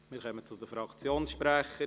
Wir kommen zu den Fraktionssprechern.